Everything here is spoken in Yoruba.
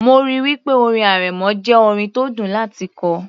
mo ríi wí pé orin arẹmọ jẹ́ orin tó dùn láti kọ